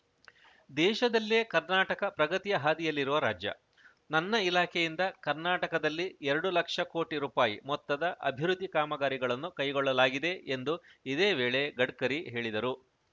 ದೇಶದಲ್ಲೇ ಕರ್ನಾಟಕ ಪ್ರಗತಿಯ ಹಾದಿಯಲ್ಲಿರುವ ರಾಜ್ಯ ನನ್ನ ಇಲಾಖೆಯಿಂದ ಕರ್ನಾಟಕದಲ್ಲಿ ಎರಡು ಲಕ್ಷ ಕೋಟಿ ರುಪಾಯಿ ಮೊತ್ತದ ಅಭಿವೃದ್ಧಿ ಕಾಮಗಾರಿಗಳನ್ನು ಕೈಗೊಳ್ಳಲಾಗಿದೆ ಎಂದು ಇದೇ ವೇಳೆ ಗಡ್ಕರಿ ಹೇಳಿದರು